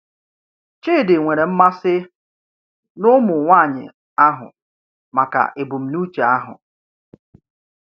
Chidi nwere mmasị n’ụmụ nwanyị ahụ maka ebumnuche ahụ.